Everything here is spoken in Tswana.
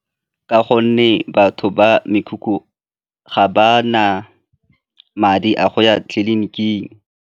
Ka gonne batho ba mekhukhu ga ba na madi a go ya tleliniking.